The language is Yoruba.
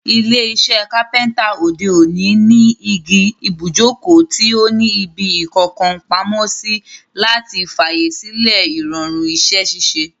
Ilé isẹ́ Kápẹ́ńtà òde òní ní igi ibùjókòó tí o ní ibi ìkókàn pamósí, láti fàyè sílẹ̀ ìrọ̀rùn isẹ́ ṣíṣe,